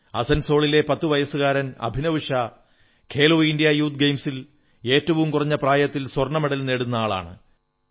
അസൻസോളിലെ 10 വയസ്സുകാരൻ Abhinav Shah Khelo India youth ഗെയിംസിൽ ഏറ്റവും കുറഞ്ഞ പ്രായത്തിൽ സ്വർണ്ണമെഡൽ നേടുന്ന ആളാണ്